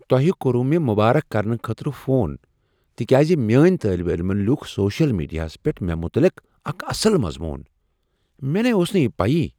تۄہہ کوٚروٕ مےٚ مبارک کرنہٕ خٲطرٕ فون تکیاز میٲنۍ طٲلب علمن لیوٗکھ سوشل میڈیاہس پیٹھ مےٚ متعلق اکھ اصل مضمون؟ مےٚ نے اوس نہٕ یہ پیی؟